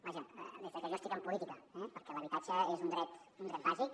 vaja des de que jo estic en política eh perquè l’habitatge és un dret un dret bàsic